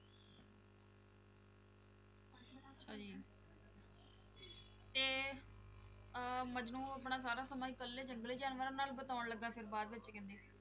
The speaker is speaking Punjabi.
ਤੇ ਅਹ ਮਜਨੂੰ ਆਪਣਾ ਸਾਰਾ ਸਮਾਂ ਇਕੱਲੇ ਜੰਗਲੀ ਜਾਨਵਰਾਂ ਨਾਲ ਬਿਤਾਉਣ ਲੱਗਾ ਫਿਰ ਬਾਅਦ ਵਿੱਚ ਕਹਿੰਦੇ?